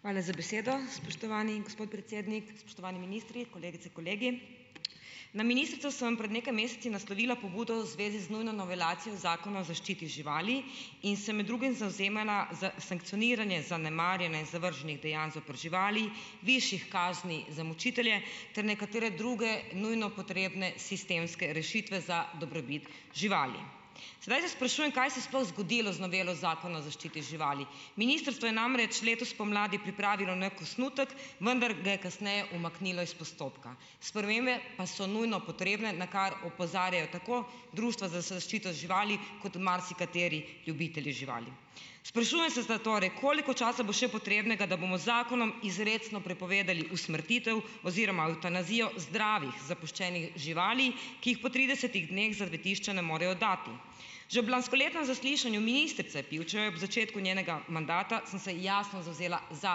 Hvala z besedo, spoštovani gospod predsednik, spoštovani ministri, kolegice, kolegi. Na ministrstvo sem pred nekaj meseci naslovila pobudo v zvezi z nujno novelacijo Zakona o zaščiti živali in se med drugim zavzemala za sankcioniranje zanemarjanja in zavrženih dejanj zoper živali, višjih kazni za mučitelje ter nekatere druge nujno potrebne sistemske rešitve za dobrobit živali. Sedaj se sprašujem, kaj se je sploh zgodilo z novelo Zakona o zaščiti živali? Ministrstvo je namreč letos spomladi pripravilo neki osnutek, vendar ga je kasneje umaknilo iz postopka. Spremembe pa so nujno potrebne, na kar opozarjajo tako društva za zaščito živali kot marsikateri ljubitelji živali. Sprašujem se zatorej, koliko časa bo še potrebnega, da bomo z zakonom izrecno prepovedali usmrtitev oziroma evtanazijo zdravih zapuščenih živali, ki jih po tridesetih dneh zavetišča ne morejo dati. Že ob lanskoletnem zaslišanju ministrice Pivčeve ob začetku njenega mandata sem se jasno zavzela za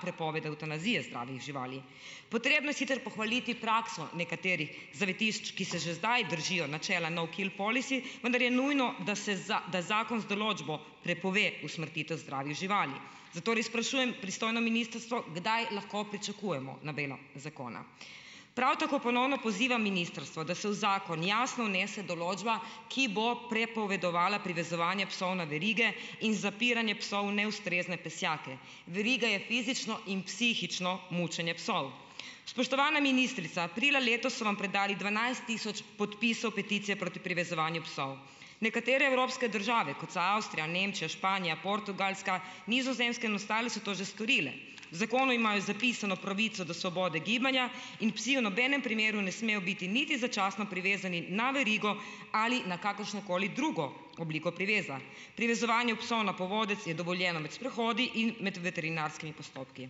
prepoved evtanazije zdravih živali. Potrebno je sicer pohvaliti prakso nekaterih zavetišč, ki se že zdaj držijo načela no kill policy, vendar je nujno, da se da zakon z določbo prepove usmrtitev zdravih živali, zato res sprašujem pristojno ministrstvo, kdaj lahko pričakujemo novelo zakona, prav tako ponovno pozivam ministrstvo, da se v zakon jasno vnese določba, ki bo prepovedovala privezovanje psov na verige in zapiranje psov v neustrezne pesjake. Veriga je fizično in psihično mučenje psov. Spoštovana ministrica, aprila letos so vam predali dvanajst tisoč podpisov peticije proti privezovanju psov. Nekatere evropske države, kot so Avstrija, Nemčija, Španija, Portugalska, Nizozemska in ostale, so to že storile. V zakonu imajo zapisano pravico do svobode gibanja in psi v nobenem primeru ne smejo biti niti začasno privezani na verigo ali na kakršnokoli drugo obliko priveza. Privezovanje psov na povodec je dovoljeno med sprehodi in med veterinarskimi postopki.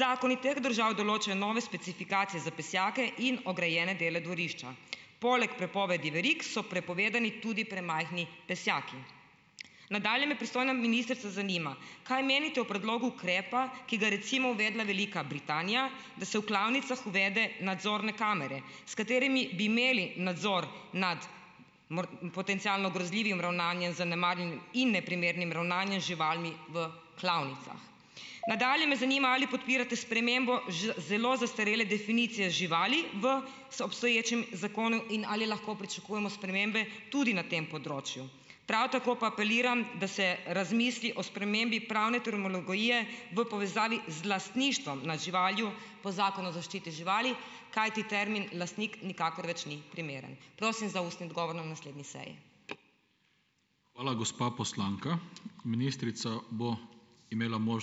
Zakoni teh držav določajo nove specifikacije za pesjake in ograjene dele dvorišča. Poleg prepovedi verig so prepovedani tudi premajhni pesjaki. Nadalje me, pristojna ministrica, zanima, kaj menite o predlogu ukrepa, ki ga je recimo uvedla Velika Britanija, da se v klavnicah uvede nadzorne kamere, s katerimi bi imeli nadzor nad potencialno grozljivim ravnanjem in neprimernim ravnanjem z živalmi v klavnicah. Nadalje me zanima, ali podpirate spremembo zelo zastarele definicije živali v obstoječem zakonu in ali lahko pričakujemo spremembe tudi na tem področju. Prav tako pa apeliram, da se razmisli o spremembi pravne terminologije v povezavi z lastništvom na živali po Zakonu o zaščiti živali, kajti termin lastnik nikakor več ni primeren. Prosim za ustni odgovor na naslednji seji.